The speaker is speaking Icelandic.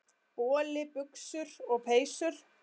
Boli, buxur og peysur.